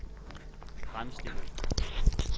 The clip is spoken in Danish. fremstillet